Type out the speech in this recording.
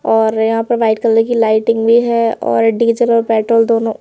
और यहां पर वाइट कलर की लाइटिंग भी है और डीजल और पेट्रोल दोनों--